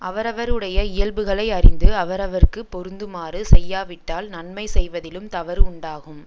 அவரவருடைய இயல்புகளை அறிந்து அவரவருக்கு பொருந்துமாறு செய்யாவிட்டால் நன்மை செய்வதிலும் தவறு உண்டாகும்